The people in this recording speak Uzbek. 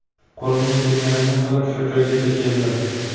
Qo‘limdan kelganini qilib shu joygacha keldim.